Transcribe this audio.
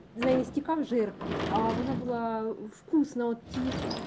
завести как жир в вкусного